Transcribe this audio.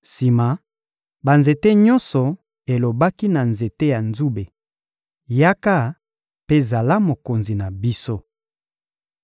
Sima, banzete nyonso elobaki na nzete ya nzube: ‹Yaka mpe zala mokonzi na biso.›